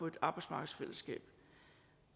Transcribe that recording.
et arbejdsmarkedsfællesskab